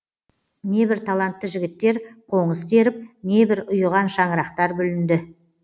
небір талантты жігіттер қоңыз теріп небір ұйыған шаңырақтар бүлінді